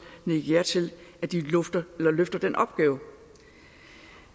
nikke ja til at de løfter den opgave